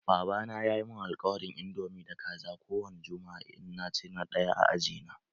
Baba na ya yi mun alkawarin indomi da Kaza ko wani jumma'a in na zo na ɗaya a aji na.